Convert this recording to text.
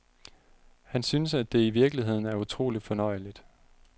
Han synes, at det i virkeligheden er utroligt fornøjeligt.